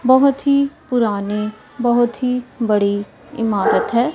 बहोत ही पुराने बहोत ही बड़ी इमारत है।